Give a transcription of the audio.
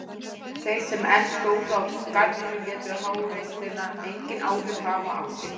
Þeir sem enn stóðu á garðinum létu háreystina engin áhrif hafa á sig.